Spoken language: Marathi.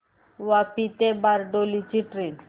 वापी ते बारडोली ची ट्रेन